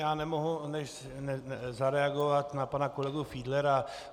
Já nemohu než zareagovat na pana kolegu Fiedlera.